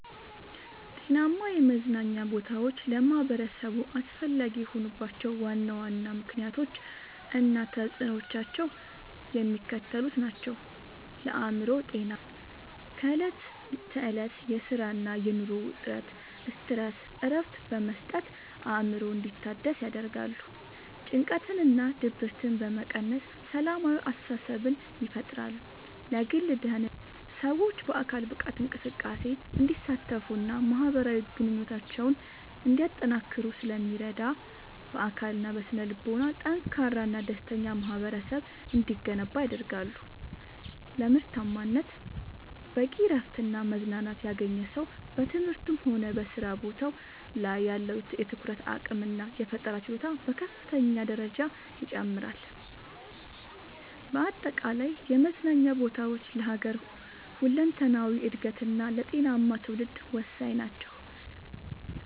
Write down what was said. ጤናማ የመዝናኛ ቦታዎች ለማኅበረሰቡ አስፈላጊ የሆኑባቸው ዋና ዋና ምክንያቶች እና ተፅዕኖዎቻቸው የሚከተሉት ናቸው፦ ለአእምሮ ጤና፦ ከዕለት ተዕለት የሥራና የኑሮ ውጥረት (Stress) እረፍት በመስጠት አእምሮ እንዲታደስ ያደርጋሉ። ጭንቀትንና ድብርትን በመቀነስ ሰላማዊ አስተሳሰብን ይፈጥራሉ። ለግል ደህንነት፦ ሰዎች በአካል ብቃት እንቅስቃሴ እንዲሳተፉና ማኅበራዊ ግንኙነታቸውን እንዲያጠናክሩ ስለሚረዱ፣ በአካልና በስነ-ልቦና ጠንካራና ደስተኛ ማኅበረሰብ እንዲገነባ ያደርጋሉ። ለምርታማነት፦ በቂ እረፍትና መዝናናት ያገኘ ሰው በትምህርቱም ሆነ በሥራ ቦታው ላይ ያለው የትኩረት አቅምና የፈጠራ ችሎታ በከፍተኛ ደረጃ ይጨምራል። በአጠቃላይ የመዝናኛ ቦታዎች ለሀገር ሁለንተናዊ እድገትና ለጤናማ ትውልድ ወሳኝ ናቸው።